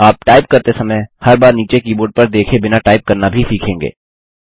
आप टाइप करते समय हर बार नीचे कीबोर्ड पर देखे बिना टाइप करना भी सीखेंगे